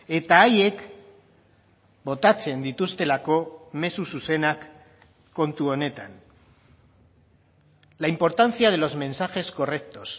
eta haiek botatzen dituztelako mezu zuzenak kontu honetan la importancia de los mensajes correctos